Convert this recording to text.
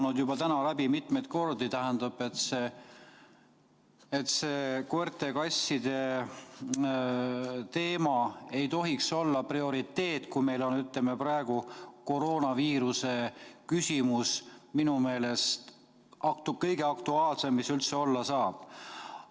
Siin on täna kõlanud juba mitmeid kordi, et see koerte ja kasside teema ei tohiks olla prioriteet, kui meil on praegu koroonaviiruse küsimus, mis on minu meelest kõige aktuaalsem, mis üldse olla saab.